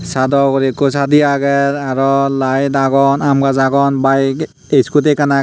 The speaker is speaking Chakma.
sadaw ugure ikko sadi agey araw lite agon aam gaj agon bige scooty ekkan agey.